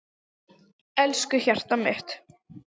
Elsku hjartað mitt.